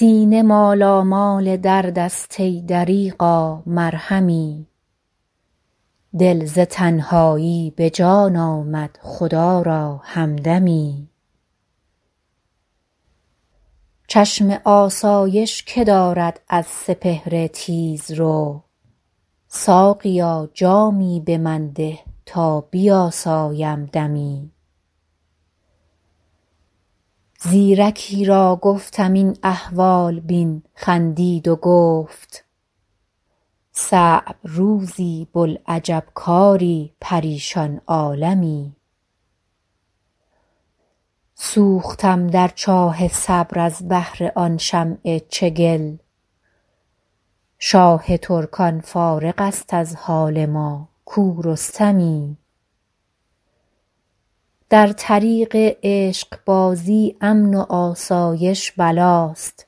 سینه مالامال درد است ای دریغا مرهمی دل ز تنهایی به جان آمد خدا را همدمی چشم آسایش که دارد از سپهر تیزرو ساقیا جامی به من ده تا بیاسایم دمی زیرکی را گفتم این احوال بین خندید و گفت صعب روزی بوالعجب کاری پریشان عالمی سوختم در چاه صبر از بهر آن شمع چگل شاه ترکان فارغ است از حال ما کو رستمی در طریق عشق بازی امن و آسایش بلاست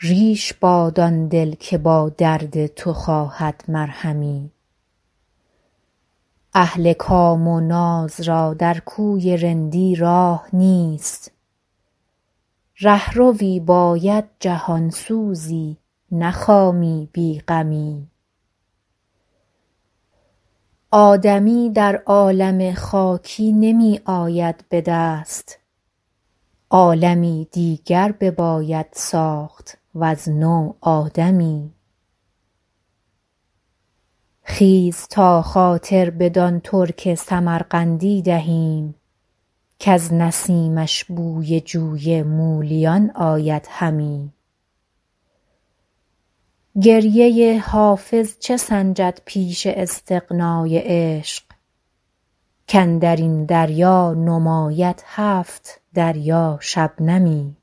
ریش باد آن دل که با درد تو خواهد مرهمی اهل کام و ناز را در کوی رندی راه نیست رهروی باید جهان سوزی نه خامی بی غمی آدمی در عالم خاکی نمی آید به دست عالمی دیگر بباید ساخت وز نو آدمی خیز تا خاطر بدان ترک سمرقندی دهیم کز نسیمش بوی جوی مولیان آید همی گریه حافظ چه سنجد پیش استغنای عشق کاندر این دریا نماید هفت دریا شبنمی